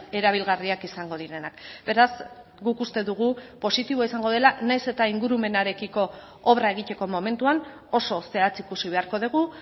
erabilgarriak izango direnak beraz guk uste dugu positiboa izango dela nahiz eta ingurumenarekiko obra egiteko momentuan oso zehatz ikusi beharko dugu